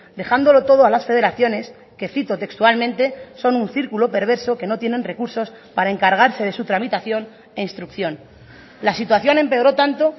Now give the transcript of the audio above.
dejándolo todo a las federaciones que cito textualmente son un círculo perverso que no tienen recursos para encargarse de su tramitación e instrucción la situación empeoró tanto